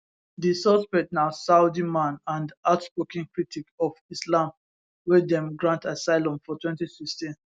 di suspect na saudi man and outspoken critic of islam wey dem grant asylum for 2016